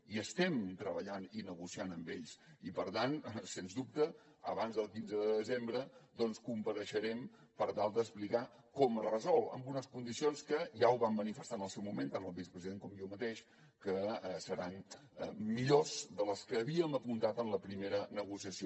hi estem treballant i estem negociant amb ells i per tant sens dubte abans del quinze de desembre compareixerem per tal d’explicar com es resol amb unes condicions que ja ho vam manifestar en el seu moment tant el vicepresident com jo mateix que seran millors de les que havíem apuntat en la primera negociació